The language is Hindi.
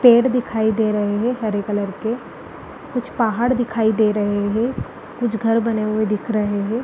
पेड़ दिखाई दे रहे हैं हरे कलर के कुछ पाहाड़ दिखाई दे रहे हैं कुछ घर बने हुए दिख रहे हैं।